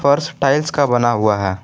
फर्श टाइल्स का बना हुआ है।